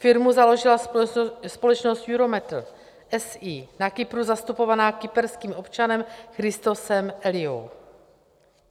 Firmu založila společnost EUROMATER, SE, na Kypru zastupovaná kyperským občanem Christosem Eliou.